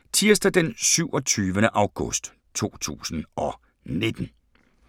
Tirsdag d. 27. august 2019